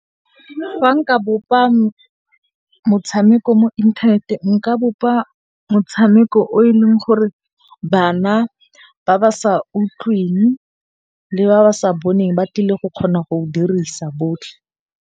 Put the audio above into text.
Fa nka bopa motshameko mo inthaneteng, nka bopa motshameko o e leng gore bana ba ba sa utlwing le ba ba sa boneng ba tlile go kgona go dirisa botlhe.